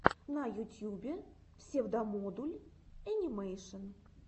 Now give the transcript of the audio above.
на ютьюбе псевдомодуль энимэйшен